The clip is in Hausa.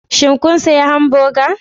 Shin kun sayi hamburger?